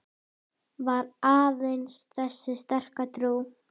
Var aðeins þessi sterka trú